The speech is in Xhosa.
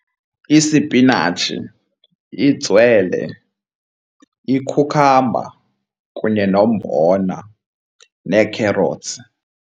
Isipinatshi, itswele, ikhukhamba kunye nombona nee-carrots.